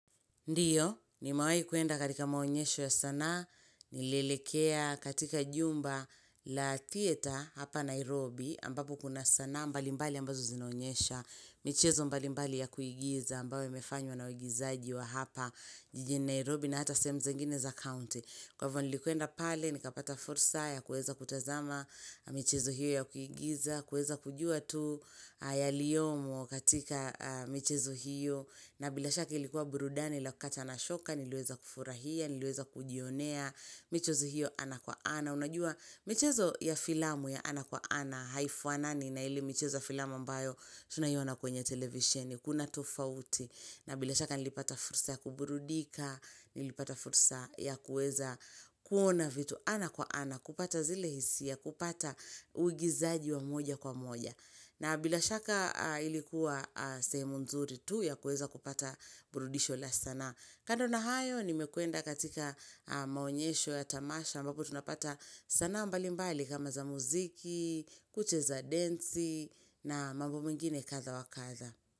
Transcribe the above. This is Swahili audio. Ndiyo, nimewai kuenda katika maonyesho ya sanaa, nilelekea katika jumba la theater hapa Nairobi, ambapo kuna sanaa mbali mbali ambazo zinaonyesha, michezo mbalimbali ya kuigiza, ambayo imefanywa na waigizaji wa hapa jijini Nairobi na hata sehemu zingine za county. Kwa hivyo nilikwenda pale, nikapata fursa ya kueza kutazama, michezo hiyo ya kuigiza, kueza kujua tu yaliyomo katika michezo hiyo, na bila shaka ilikuwa burudani la kukata na shoka, niliweza kufurahia, niliweza kujionea, michezo hiyo ana kwa ana. Unajua michezo ya ana kwa ana haifanani na ile michezo ya filamu ambayo tunaiona kwenye televisheni, kuna tofauti, na bila shaka nilipata fursa ya kuburudika, nilipata fursa ya kueza kuona vitu ana kwa ana, kupata zile hisia, kupata uigizaji wa moja kwa moja. Na bila shaka ilikuwa sehemu nzuri tu ya kueza kupata burudisho la sana. Kando na hayo, nimekwenda katika maonyesho ya tamasha, ambapo tunapata sanaa mbali mbali kama za muziki, kucheza densi na mambo mengine kadhaa wa kadhaa.